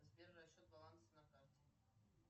сбер расчет баланса на карте